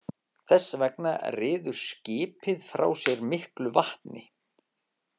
Þess vegna ryður skipið frá sér miklu vatni.